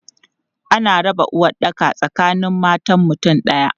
Ana raba uwaɗɗaka tsakanin matan mutum ɗaya.